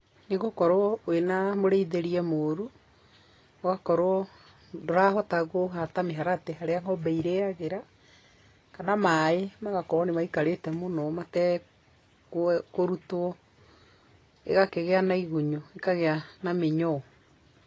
Nĩ gũkorwo wĩna mũrĩithĩrie mũrũ, ũgakorwo ndũrahota kũhata mĩharatĩ harĩa ng'ombe irĩagĩra, kana maĩ magokorwo nĩ maikarĩte mũno matekũrutwo, ĩgakĩgĩa na igunyũ, ĩkagĩa na mĩnyoo.